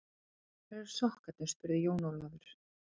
Hvar eru sokkarnir spurði Jón Ólafur.